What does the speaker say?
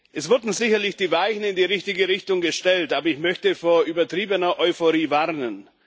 Es wurden sicherlich die Weichen in die richtige Richtung gestellt, aber ich möchte vor übertriebener Euphorie warnen.